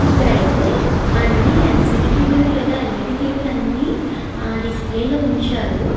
ఇక్కడ అయతె అన్ని ఎల్ సీ డి టీవీ లు ఎల్ ఈ డి టీవీ లు అన్ని డిస్ప్లే లొ ఉంచారు.